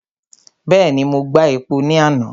Bẹ́ẹ̀ni, mo gba epo ní àná.